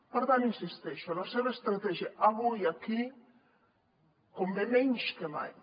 per tant hi insisteixo la seva estratègia avui aquí convé menys que mai